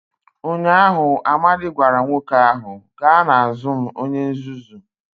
Ụnyaahụ, Amadi gwara nwoke ahụ, gaa n'azụ m onye nzuzu!